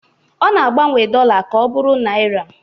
Ọ na-agbanwe dollar ka ọ bụrụ naira